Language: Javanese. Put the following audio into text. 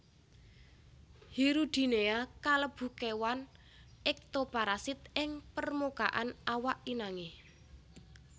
Hirudinea kalebu kéwan ektoparasit ing permukaan awak inangé